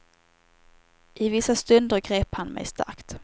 I vissa stunder grep han mig starkt.